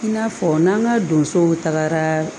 I n'a fɔ n'an ka donsow tagara